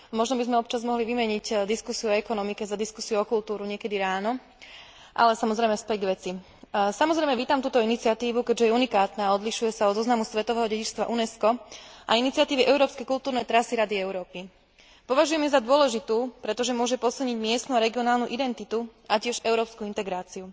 Možno by sme občas mohli vymeniť diskusiu o ekonomike za diskusiu o kultúre niekedy ráno, ale, samozrejme, späť k veci. Samozrejme vítam túto iniciatívu, keďže je unikátna a odlišuje sa od zoznamu svetového dedičstva Unesco a iniciatívy európskej kultúrnej trasy Rady Európy. Považujem ju za dôležitú, pretože môže posilniť miestnu a regionálnu identitu a tiež európsku integráciu.